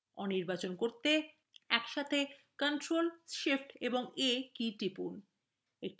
aনির্বাচন করতে একসাথে ctrl shift এবং a কী টিপুন